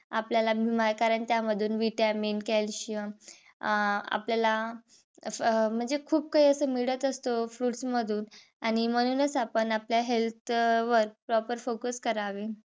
आपल्याला कारण त्यामधून vitamin calcium अं आपल्याला अस अह म्हणजे खूप काही अस मिळत असत fruits मधून आणि म्हणूनच आपण आपल्या health वर proper focus करावे.